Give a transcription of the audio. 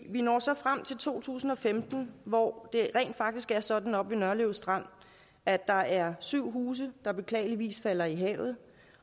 vi når så frem til to tusind og femten hvor det rent faktisk er sådan oppe ved nørlev strand at der er syv huse der beklageligvis falder i havet